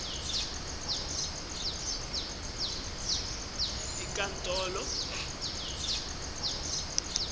inkantolo itfola kutsi